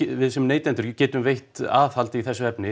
við sem neytendur geta veitt aðhald í þessu efni